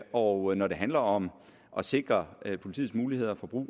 og når det handler om at sikre politiets muligheder for brug